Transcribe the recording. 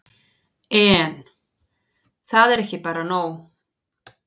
En. það er bara ekki nóg.